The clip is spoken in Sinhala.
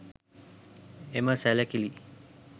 එම සැළකිලි